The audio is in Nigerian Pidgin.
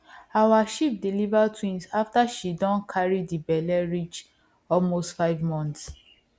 our sheep deliver twins after she don carry the belle reach almost five months